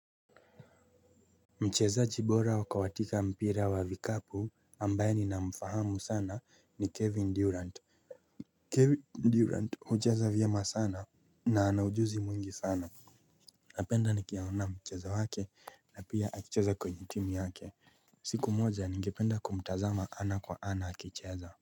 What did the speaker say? Mchezazi bora wakawatika mpira wa vikapu ambaye nina mfahamu sana ni Kevin Durant Kevin Durant hucheza vyema sana na anaujuzi mwingi sana. Napenda nikiaona mchezo wake na pia akicheza kwenye timu yake siku moja ningependa kumtazama ana kwa ana akicheza. Kwa hivyo.